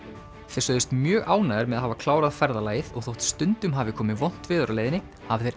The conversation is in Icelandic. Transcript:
þeir sögðust mjög ánægðir með að hafa klárað ferðalagið og þótt stundum hafi komið vont veður á leiðinni hafi þeir